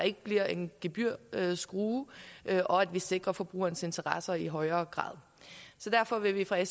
ikke bliver en gebyrskrue og at vi sikrer forbrugernes interesser i højere grad derfor vil vi fra